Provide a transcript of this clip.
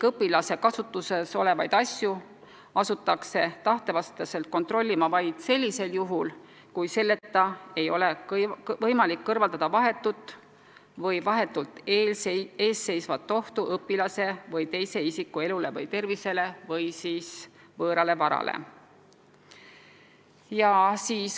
Õpilase kasutuses olevaid asju hakatakse tema tahte vastaselt kontrollima vaid siis, kui muul moel ei ole võimalik kõrvaldada vahetut või vahetult ees seisvat ohtu õpilase või teise isiku elule või tervisele või siis võõrale varale.